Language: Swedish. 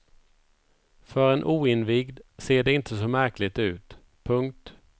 För en oinvigd ser det inte så märkligt ut. punkt